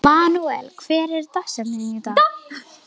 Manuel, hver er dagsetningin í dag?